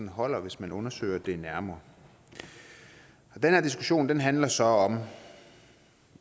holder hvis man undersøger det nærmere den her diskussion handler så om